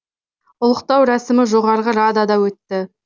ұлықтау рәсімі жоғарғы радада өтті